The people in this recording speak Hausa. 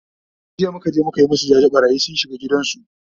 jiya muka je muka masu jaje, ɓarayi sun shiga gidan su